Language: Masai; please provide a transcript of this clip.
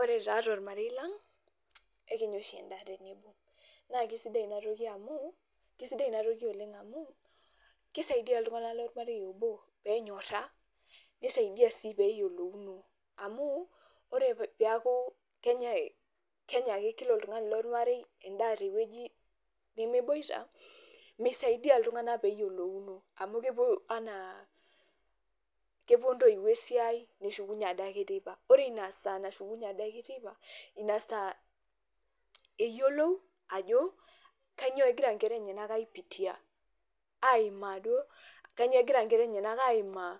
Ore taa tormarei laang' ekinya oshi endaa tenebo naa kesidai inatoki amu kesidai ina toki oleng' amu, kisaidia iltung'anak lormarei obo pee enyora, nisaidia sii pee eyolouno. Amu ore peeku kenyai kenyake kila oltung'ani lormarei endaa te wueji nemeboita, mesidai iltung'anak pee eyolouno amu kepuo enaa kepuo ntoiwuo esiai nishukunye ade ake teipa, ore ina saa nashukunye ade teipa naa ina saa eyolou ajo kanyo egira nkera enyenak a ipitia aimaa duo, kanyoo egira nkera enyenak aimaa